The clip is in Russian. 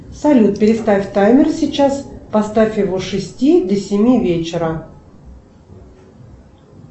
салют переставь таймер сейчас поставь его с шести до семи вечера